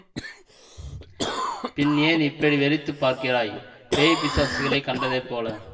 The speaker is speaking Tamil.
பின் ஏன் இப்படி வெறித்துப் பார்க்கிறாய் பேய் பிசாசுகளைக் கண்டதைப் போல